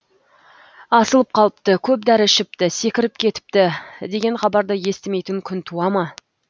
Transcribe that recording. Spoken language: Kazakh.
асылып қалыпты көп дәрі ішіпті секіріп кетіпті деген хабарды естімейтін күн туа ма